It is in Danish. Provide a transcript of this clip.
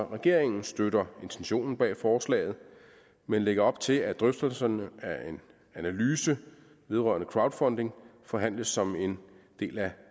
regeringen støtter intentionen bag forslaget men lægger op til at drøftelserne af en analyse vedrørende crowdfunding forhandles som en del af